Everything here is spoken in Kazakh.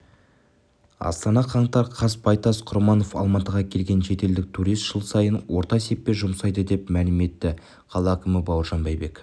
астана қаңтар қаз байтас құрманов алматыға келген шетелдік турист жыл сайын орта есеппен жұмсайды деп мәлім етті қала әкімі бауыржан байбек